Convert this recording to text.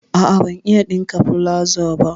A'a, ban iya ɗinka palazo ba.